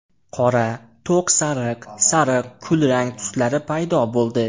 Qora, to‘q sariq, sariq, kulrang tuslari paydo bo‘ldi.